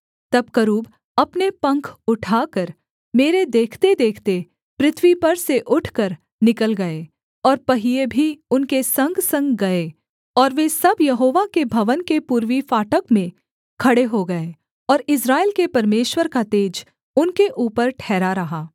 तब करूब अपने पंख उठाकर मेरे देखतेदेखते पृथ्वी पर से उठकर निकल गए और पहिये भी उनके संगसंग गए और वे सब यहोवा के भवन के पूर्वी फाटक में खड़े हो गए और इस्राएल के परमेश्वर का तेज उनके ऊपर ठहरा रहा